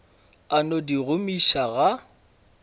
a no di gomiša ga